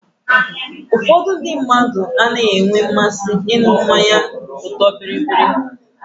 Ụfọdụ ndị mmadụ anaghị enwe mmasị ịṅụ mmanya ọtọọ biribiri.